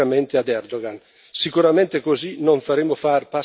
Sicuramente così non faremo fare passi avanti al regime turco.